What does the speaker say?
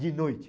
De noite.